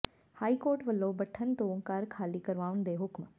high court ਵੱਲੋਂ ਭੱਠਲ ਤੋਂ ਘਰ ਖਾਲੀ ਕਰਵਾਉਣ ਦੇ ਹੁਕਮ